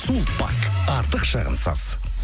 сулпак артық шығынсыз